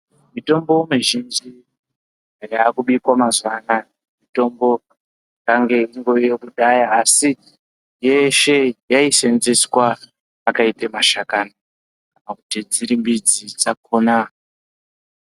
Mitombo mizhinji ,yaakubikwa mazuwa anaya, mitombo yanga ingoriyo kudhaya, asi yeese yaiseenzeswa akaite mashakani ,kana kuti dziri midzi dzakhona.